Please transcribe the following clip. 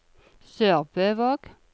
SørbØvåg